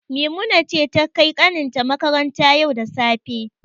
Maimuna ce ta kai kanin ta makaranta yau da safe.